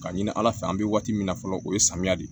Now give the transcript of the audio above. Ka ɲini ala fɛ an bɛ waati min na fɔlɔ o ye samiya de ye